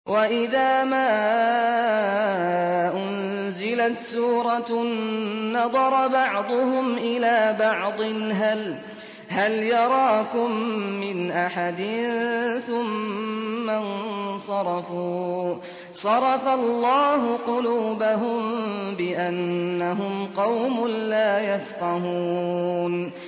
وَإِذَا مَا أُنزِلَتْ سُورَةٌ نَّظَرَ بَعْضُهُمْ إِلَىٰ بَعْضٍ هَلْ يَرَاكُم مِّنْ أَحَدٍ ثُمَّ انصَرَفُوا ۚ صَرَفَ اللَّهُ قُلُوبَهُم بِأَنَّهُمْ قَوْمٌ لَّا يَفْقَهُونَ